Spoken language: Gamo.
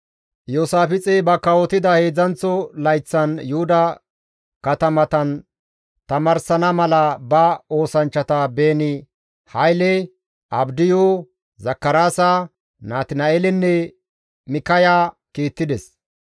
Iyoosaafixey ba kawotida heedzdzanththo layththan Yuhuda katamatan tamaarsana mala ba oosanchchata Beeni-Hayle, Abdiyu, Zakaraasa, Natina7eelenne Mikkaya kiittides.